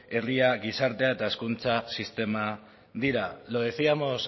herria gizartea eta hezkuntza sistema dira lo decíamos